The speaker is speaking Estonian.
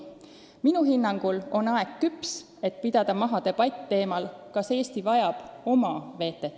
Minu hinnangul on aeg küps, et pidada maha debatt teemal, kas Eesti vajab oma VTT-d.